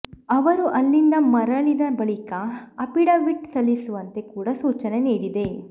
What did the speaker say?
ಅವರು ಅಲ್ಲಿಂದ ಮರಳಿದ ಬಳಿಕ ಅಫಿಡವಿಟ್ ಸಲ್ಲಿಸುವಂತೆ ಕೂಡ ಸೂಚನೆ ನೀಡಿದೆ